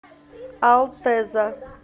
алтеза